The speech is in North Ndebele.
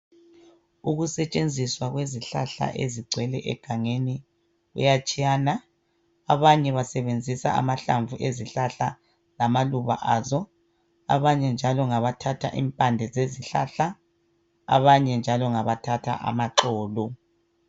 Ukusetshenziswa kwezihlahla ezigcwele egangeni kuyatshiyana abanye basebenzisa amahlamvu ezihlahla lamaluba azo abanye njalo ngabathatha impande zezihlahla abanye njalo ngabathatha amaxolo.